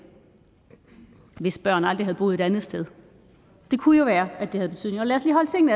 hvis børn aldrig havde boet et andet sted det kunne jo være at det havde en betydning og lad